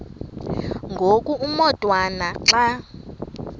ngoku umotwana xa